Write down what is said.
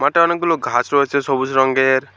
মাঠে অনেকগুলো ঘাস রয়েছে সবুজ রঙের।